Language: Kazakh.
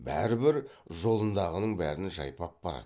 бәрібір жолындағының бәрін жайпап барады